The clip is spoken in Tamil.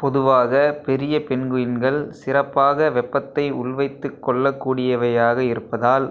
பொதுவாகப் பெரிய பென்குயின்கள் சிறப்பாக வெப்பத்தை உள்வைத்துக்கொள்ளக் கூடியவையாக இருப்பதால்